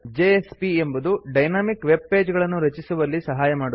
JSP ಎಂಬುದು dynamic web page ಗಳನ್ನು ರಚಿಸುವಲ್ಲಿ ಸಹಾಯ ಮಾಡುತ್ತದೆ